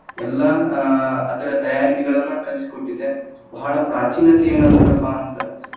ಎಲ್ಲಾ ಆ ಅದರ ತಯಾರಿಕೆಗಳನ್ನ ಕಲಿಸಿಕೊಟ್ಟಿದೆ, ಬಹಳ ಪ್ರಾಚೀನತೆಯನ್ನಂತ್ರಪಾ ಅಂದ್ರ್‌